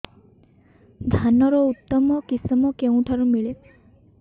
ଧାନର ଉତ୍ତମ କିଶମ କେଉଁଠାରୁ ମିଳିବ